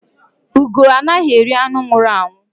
Ugó anaghị eri anụ nwụrụ anwụ